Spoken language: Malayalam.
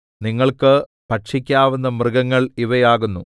നിങ്ങൾക്ക് ഭക്ഷിക്കാവുന്ന മൃഗങ്ങൾ ഇവ ആകുന്നു